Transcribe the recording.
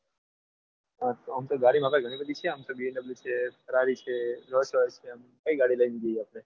આહ ઓમતો ગાડી તો ગણી બધી છે bmw છે farrari કઈ ગાડી લઈને જીએ આપણે?